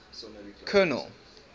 colonel